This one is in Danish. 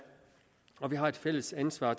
og vi har et fælles ansvar